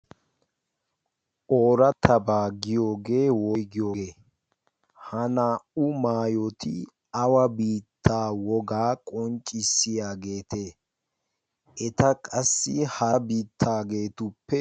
Oratabba giyooge woyggiyooge? ha naa''u maayoti awa biitta wogaa qonccissiyaagete? eta qassi hara biittageetuppe....